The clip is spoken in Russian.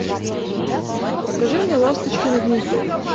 покажи мне ласточкино гнездо